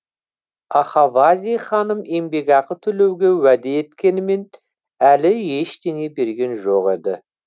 ахавази ханым еңбекақы төлеуге уәде еткенімен әлі ештеңе берген жоқ еді